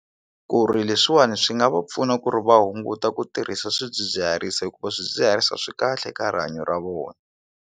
Ku ri leswiwani swi nga va pfuna ku ri va hunguta ku tirhisa swidzidziharisi hikuva swidzidziharisi a swi kahle ka rihanyo ra vona.